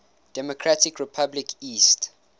democratic republic east